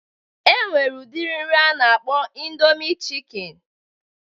E nwere udiri nri a na-akpọ ịndomi chịkịn